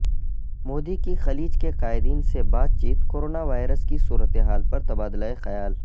مودی کی خلیج کے قائدین سے بات چیت کورونا وائرس کی صورتحال پر تبادلہ خیال